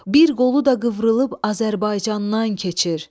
Bir qolu da qıvrılıb Azərbaycandan keçir.